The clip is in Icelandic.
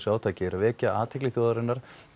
átakinu er að vekja athygli þjóðarinnar